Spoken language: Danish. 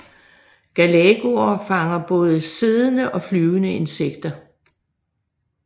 Galagoer fanger både siddende og flyvende insekter